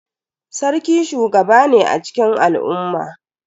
Sarki shugaba ne a cikin al'umma.